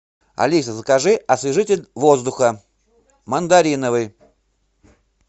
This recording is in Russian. алиса закажи освежитель воздуха мандариновый